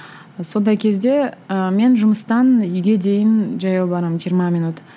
сондай кезде ы мен жұмыстан үйге дейін жаяу барамын жиырма минут